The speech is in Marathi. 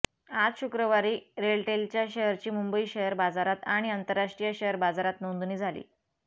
आज शुक्रवारी रेलटेलच्या शेअरची मुंबई शेअर बाजारात आणि राष्ट्रीय शेअर बाजारात नोंदणी झाली